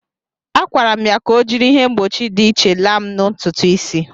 Akwara'm ya ka o jiri ihe mgbochi dị iche laa'm ntụtụ isi.